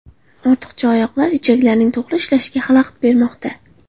Ortiqcha oyoqlar ichaklarning to‘g‘ri ishlashiga xalaqit bermoqda.